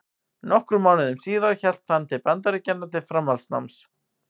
Nokkrum mánuðum síðar hélt hann til Bandaríkjanna til framhaldsnáms.